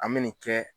An bɛ nin kɛ